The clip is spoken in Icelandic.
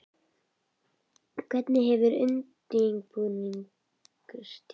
Hvernig hefur undirbúningstímabilið verið?